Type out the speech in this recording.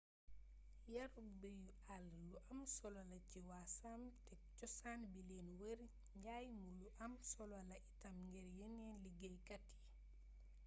yarug beyu àll lu am solo la ci waa sâmes te cosaan bi leen wër njaay mu lu am solo la itam ngir yeneen liggéeyat yi